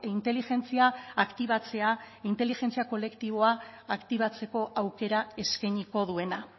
inteligentzia aktibatzea inteligentzia kolektiboa aktibatzeko aukera eskainiko duena